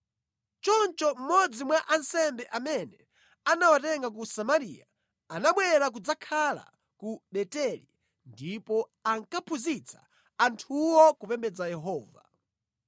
Choncho mmodzi mwa ansembe amene anawatenga ku Samariya anabwera kudzakhala ku Beteli ndipo ankaphunzitsa anthuwo kupembedza Yehova.